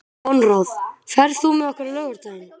Konráð, ferð þú með okkur á laugardaginn?